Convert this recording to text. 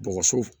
Bɔgɔso